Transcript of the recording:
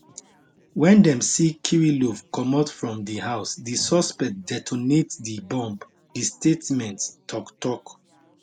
wen dem see kirillov comot from di house di suspect detonate di bomb di statement tok tok